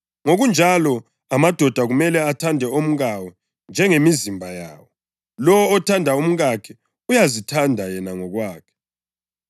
Ngokunjalo, amadoda kumele athande omkawo njengemizimba yawo. Lowo othanda umkakhe uyazithanda yena ngokwakhe.